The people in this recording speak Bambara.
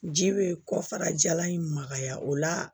Ji be kɔfara jalan in magaya o la